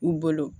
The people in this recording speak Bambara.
U bolo